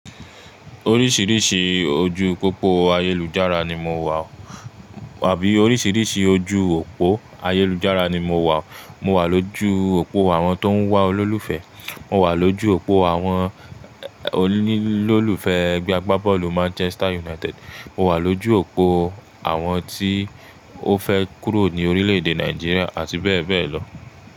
Oríṣiríṣi ojú pópó ayélujára ni mo wà. Wàbí oríṣiríṣi ojú òpó ayélujára ni mo wà. Mo wà lójú òpó àwọn tó ń wá olólùfẹ́, mo wà lójú òpó àwọn onílòlufe ẹgbẹ́ agbábọ́ọ̀lù Manchester United, mo wà lójú òpó àwọn tí ó fẹ́ kúrò ní orílẹ̀ èdè Nàìjíríà àti bẹ́ẹ̀ bẹ́ẹ̀ lọ.